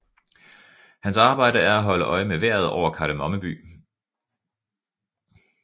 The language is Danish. Hans arbejde er at holde øje med vejret over Kardemomme By